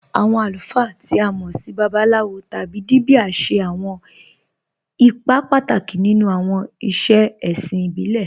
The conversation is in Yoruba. Awọn alùfáà, tí a mọ́ sì Babaláwòs tábí Díbíà, ṣẹ̀ awọn ìpà pátákì nínú awọn ìṣẹ̀ è̩ṣìn ìbílẹ̀.